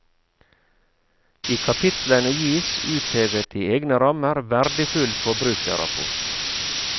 I kapitlene gis, uthevet i egne rammer, verdifull forbrukerrapport.